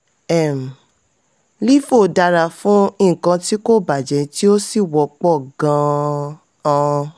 um lifo dara fún nkan tí kò bàjẹ́ tí ó sì wọ́pọ̀ gan-an.